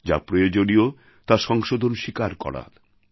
যা প্রয়োজনীয় তার সংশোধন স্বীকার করা দরকার